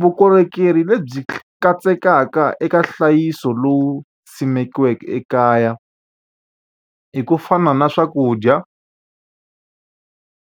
Vukorhokeri lebyi katsekaka eka nhlayiso lowu simekiweke ekaya, i ku fana na swakudya,